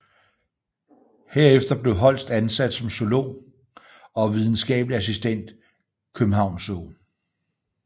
Herefter blev Holst ansat som zoolog og videnskabelig assistent København Zoo